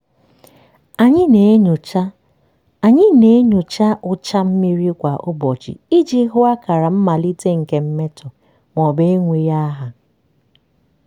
anyị na-enyocha anyị na-enyocha ụcha mmiri kwa ụbọchị iji hụ akara mmalite nke mmetọ maọbụ enweghị aha.